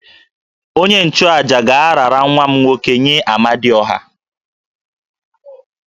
Onye-nchu-àjà ga-arara nwa m nwoke nye Amadiọha